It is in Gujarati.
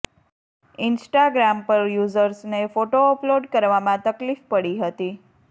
ઇન્સ્ટાગ્રામ પર યુજર્સને ફોટો અપલોડ કરવામાં તકલીફ પડી હતી